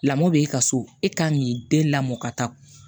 Lamɔ b'e ka so e kan k'i den lamɔ ka taa